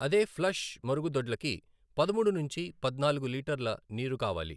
అదే ఫ్లష్ మరుగుదొడ్లకి పదమూడు నుంచి పద్నాలుగు లీటర్ల నీరు కావాలి.